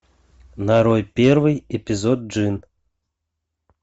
нарой первый эпизод джин